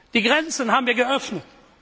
Die Grenzen haben wir